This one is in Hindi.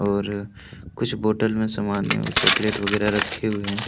और कुछ बोटल में समान एवं चॉकलेट वगैरा रखे हुए हैं।